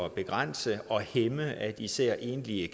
at begrænse og hæmme især enlige